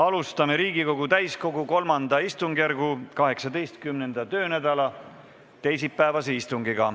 Alustame Riigikogu täiskogu kolmanda istungjärgu 18. töönädala teisipäevase istungit.